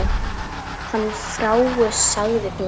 Hann fraus, sagði hún.